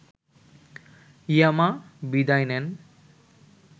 ইয়ামা বিদায় নেন